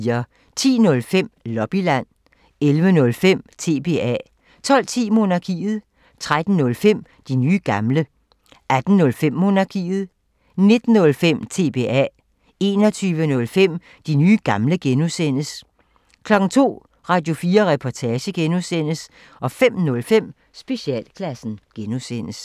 10:05: Lobbyland 11:05: TBA 12:10: Monarkiet 13:05: De nye gamle 18:05: Monarkiet 19:05: TBA 21:05: De nye gamle (G) 02:00: Radio4 Reportage (G) 05:05: Specialklassen (G)